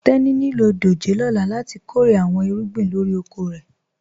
Tẹni ní ilọ dòjé lọ́là láti kọ́rè àwọn ìrúgbìn lórí òkò rẹ.